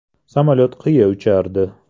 Samolyot qiya uchardi.